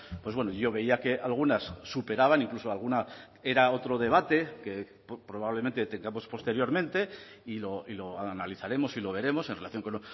pues bueno yo veía que algunas superaban incluso alguna era otro debate que probablemente tengamos posteriormente y lo analizaremos y lo veremos en relación con